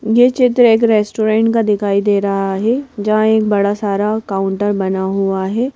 ये चित्र एक रेस्टोरेंट का दिखाई दे रहा है जहां एक बड़ा सारा काउंटर बना हुआ है।